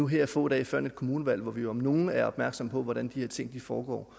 her få dage før et kommunevalg hvor vi jo om nogen er opmærksom på hvordan de her ting foregår